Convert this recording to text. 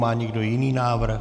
Má někdo jiný návrh?